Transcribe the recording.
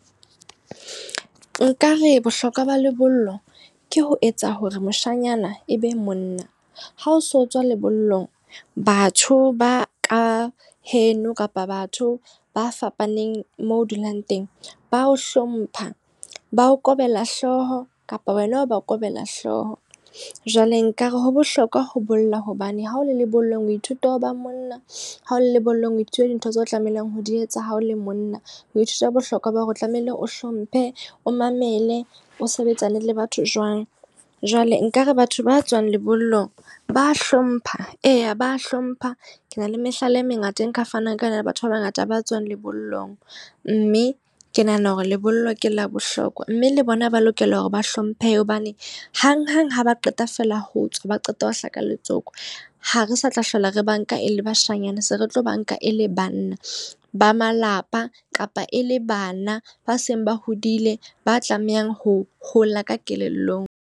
Nka re bohlokwa ba lebollo ke ho etsa hore moshanyana e be monna. Ha ho so tswa lebollong, batho ba ka heno kapa batho ba fapaneng moo dulang teng. Ba o hlompha, ba o kobela hlooho kapa wena o ba o kobela hlooho. Jwale nkare ho bohlokwa ho bolla hobane ha o le lebollong o ithuta ho ba monna, ha o le lebollong o ithuta dintho tseo tlamehileng ho di etsa. Ha o le monna o ithuta bohlokwa ba hore o tlamehile o hlomphe, o mamele, o sebetsane le batho jwang. Jwale nkare batho ba tswang lebollong ba hlompha, eya ba hlompha. Ke na le mehlala e mengata e nka fanang ka yona le batho ba bangata ba tswang lebollong. Mme ke nahana hore lebollo ke la bohlokwa. Mme le bona ba lokela hore ba hlomphehe hobane hang-hang ha ba qeta feela ho tswa, ba qeta ho hlaka letsoku. Ha re sa tla hlola re banka e le bashanyana, se re tlo banka e le banna ba malapa kapa e le bana ba seng ba hodile ba tlamehang ho hola ka kelellong.